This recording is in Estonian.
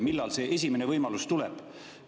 Millal see esimene võimalus tuleb?